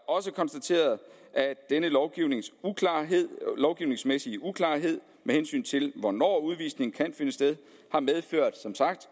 også konstateret at denne lovgivningsmæssige uklarhed med hensyn til hvornår udvisning kan finde sted som sagt